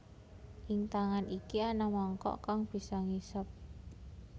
Ing tangan iki ana mangkok kang bisa ngisep